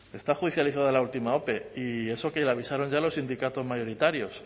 está judicializado la última ope y eso que le avisaron ya los sindicatos mayoritarios